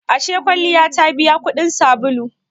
Ashe kwalliya ta biya kudin sabulu?